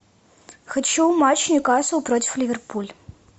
хочу матч ньюкасл против ливерпуль